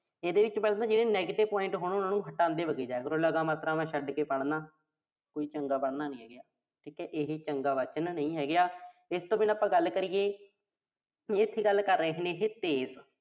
ਇਹਦੇ ਵਿੱਚ ਜਿਹੜੇ negative point ਨੇ, ਉਨ੍ਹਾਂ ਨੂੰ ਹਟਾਉਂਦੇ ਵਗੀ ਜਾਇਆ ਕਰੋ। ਲਗਾ-ਮਾਤਰਾਵਾਂ ਛੱਡ ਕੇ ਪੜ੍ਹਨਾ। ਕੋਈ ਚੰਗਾ ਪੜ੍ਹਨਾ ਨੀਂ ਹੈਗਾ। ਠੀਕਾ ਇਹੇ ਚੰਗਾ ਵਾਚਨ ਨਹੀਂ ਹੈਗਾ। ਇਸ ਤੋਂ ਬਿਨਾਂ ਆਪਾਂ ਗੱਲ ਕਰੀਏ। ਇਥੇ ਗੱਲ ਕਰ ਰਹੇ ਨੇਂ ਇਹੇ ਤੇਜ਼